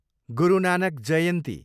गुरु Nanak जयन्ती